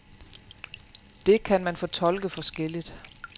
Det kan man fortolke forskelligt.